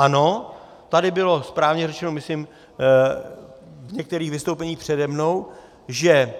Ano, tady bylo správně řečeno myslím v některých vystoupeních přede mnou, že